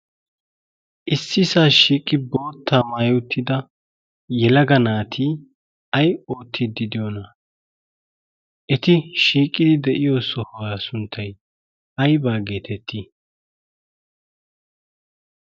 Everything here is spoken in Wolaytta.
issisaa shiiqi boottaa maayi uttida yelaga naati ayi oottidi diyoonaa? eti shiiqqidi de'iyoo sohuwaa sunttay aybaa getettii?